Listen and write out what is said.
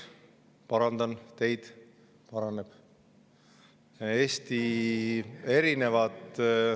Parandan teid: eelarve seis paraneb.